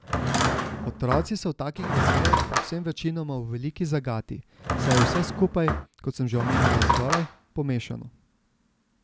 Otroci so v takih razmerah predvsem večinoma v veliki zagati, saj je vse skupaj, kot sem že omenila zgoraj, pomešano.